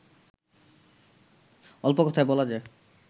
অল্প কথায় বলা যায়